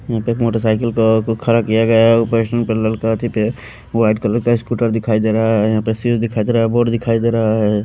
यहां पे एक मोटरसाइकिल को को खड़ा किया गया है ऊपर पे लड़का एक व्हाइट कलर का स्कूटर दिखाई दे रहा है यहां पे शूज दिखाई दे रहा है बोर्ड दिखाई दे रहा है।